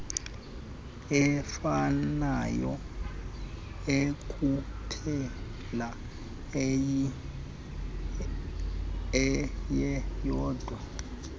efanayo ekuphela eyeyodwa